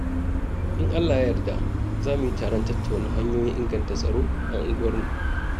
In Allah ya yarda, za mu yi taron tattauna hanyoyin inganta tsaro a unguwarmu.